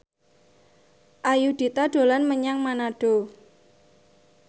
Ayudhita dolan menyang Manado